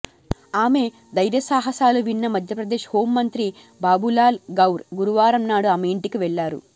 ఆమె ధైర్యసాహసాలు విన్న మధ్యప్రదేశ్ హోమంత్రి బాబులాల్ గౌర్ గురువారం నాడు ఆమె ఇంటికి వెళ్లారు